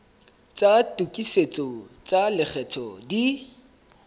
tsa tokisetso tsa lekgetho di